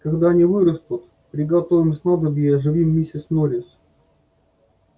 когда они вырастут приготовим снадобье и оживим миссис норрис